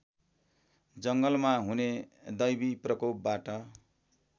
जङ्गलमा हुने दैवीप्रकोपबाट